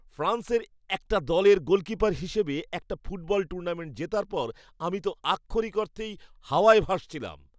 ফ্রান্সের একটা দলের গোলকিপার হিসেবে একটা ফুটবল টুর্নামেন্ট জেতার পর আমি তো আক্ষরিক অর্থেই হওয়ায় ভাসছিলাম।